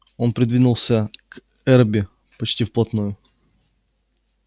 он придвинулся к эрби почти вплотную